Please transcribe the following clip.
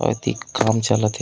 अ एति काम चलत हे।